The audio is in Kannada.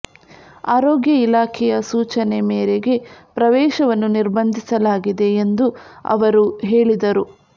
ಆರೋಗ್ಯ ಇಲಾಖೆಯ ಸೂಚನೆ ಮೇರೆಗೆ ಪ್ರವೇಶವನ್ನು ನಿರ್ಬಂಧಿಸಲಾಗಿದೆ ಎಂದು ಅವರು ಹೇಳಿದರು